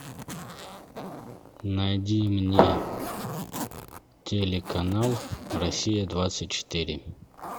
найди мне телеканал россия двадцать четыре